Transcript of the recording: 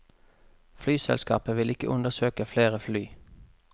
Flyselskapet vil ikke undersøke flere fly.